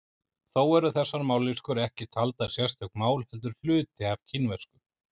Þó eru þessar mállýskur ekki taldar sérstök mál heldur hluti af kínversku.